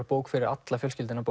bók fyrir alla fjölskylduna